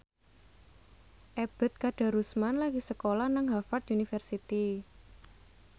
Ebet Kadarusman lagi sekolah nang Harvard university